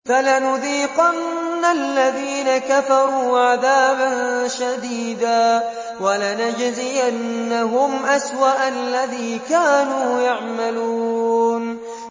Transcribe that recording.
فَلَنُذِيقَنَّ الَّذِينَ كَفَرُوا عَذَابًا شَدِيدًا وَلَنَجْزِيَنَّهُمْ أَسْوَأَ الَّذِي كَانُوا يَعْمَلُونَ